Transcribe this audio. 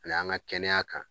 A y'an ŋa kɛnɛya kan